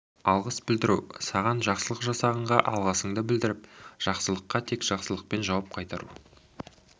алғыс білдіру саған жақсылық жасағанға алғысыңды білдіріп жақсылыққа тек жақсылықпен жауап қайтару